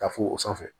Ka fo o sanfɛ